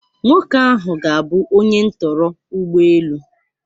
Nwoke ahụ ga-abụ onye ntọrọ ụgbọ elu.